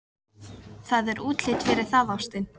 Það er útlit fyrir það, ástin.